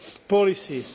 policies.